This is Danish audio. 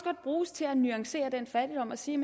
bruges til at nuancere den fattigdom og sige